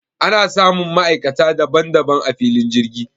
Ana samun ma'aikata daban daban a filin jirgi